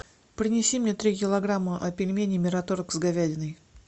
принеси мне три килограмма пельменей мираторг с говядиной